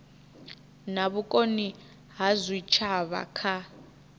na vhukoni ha zwitshavha kha